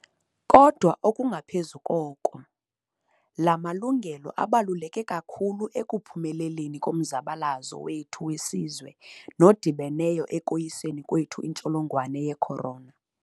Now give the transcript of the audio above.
Kodwa okungaphezu koko, la malungelo abaluleke kakhulu ekuphumeleleni komzabalazo wethu wesizwe nodibeneyo ekoyiseni kwethu intsholongwane ye-corona.